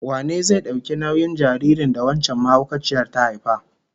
Wane zai dauki nauyin jaririn da wancan mahaukaciyar ta haifa?